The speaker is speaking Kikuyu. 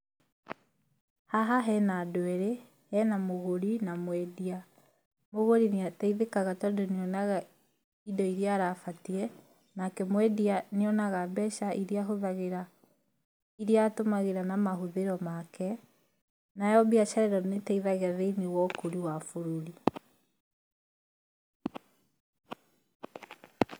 Haha hena andũ erĩ, hena mũgũri na mwendia. Mũgũri nĩ ateithĩkaga tondũ nĩ onaga indo iria arabatiĩ, nake mwendia nĩ onaga mbeca iria ahũthagĩra, iria atũmagĩra na mahũthĩro make. Nayo biacara ĩno nĩ ĩteithagia thĩiniĩ wa ũkũri wa bũrũri.